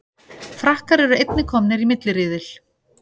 Frakkar eru einnig komnir í milliriðil